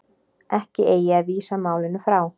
Ekki eigi að vísa málinu frá